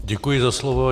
Děkuji za slovo.